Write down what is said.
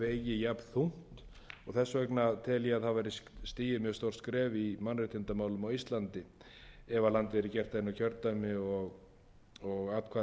jafnþungt og þess vegna tel ég að það væri stigið mjög stórt skref í mannréttindamálum á íslandi ef landið væri gert að einu kjördæmi og atkvæðin jöfnuð alveg mér finnst engin